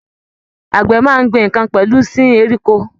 Àgbẹ̀ máa n gbìn nkán pẹlú sìn ẹranko.